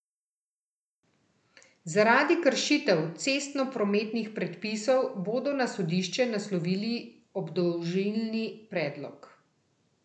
Zaradi kršitev cestnoprometnih predpisov bodo na sodišče naslovili obdolžilni predlog.